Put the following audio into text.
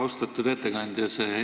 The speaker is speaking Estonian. Austatud ettekandja!